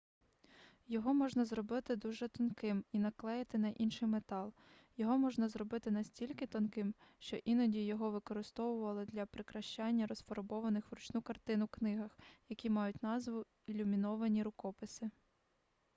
його можна зробити дуже тонким і наклеїти на інший метал його можна зробити настільки тонким що іноді його використовували для прикрашання розфарбованих вручну картин у книгах які мають назву ілюміновані рукописи